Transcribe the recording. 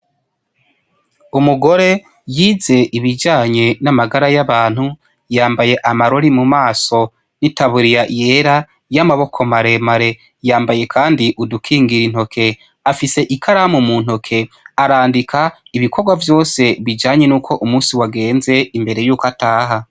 Umugore yize ibijanye n' amagara y'abantu, yambaye amarori mu maso n' itaburiya yera y'amaboko maremare . Yambaye kandi udukingiye intoke. Afise ikaramu mu ntoke, arandika ibikorwa vyose bijanye n' ukwo umunsi wagenze imbere y'ukwo ataha.